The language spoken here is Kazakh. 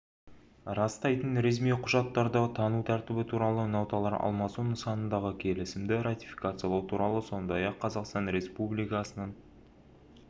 растайтын ресми құжаттарды тану тәртібі туралы ноталар алмасу нысанындағы келісімді ратификациялау туралы сондай-ақ қазақстан республикасының